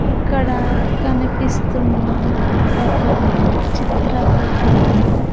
ఇక్కడ కనిపిస్తున్న ఒక చిత్రపటంలో.